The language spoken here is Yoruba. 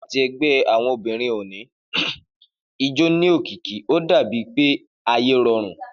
Nígbàtí ẹgbẹ́ àwọn obìrin òní ijó ní òkìkí o dà bí ẹni pé ayé rọrùn